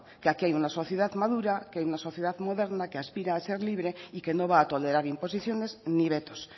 que aquí hay una sociedad madura que hay una sociedad moderna que aspira a ser libre y que no va a tolerar imposiciones ni vetos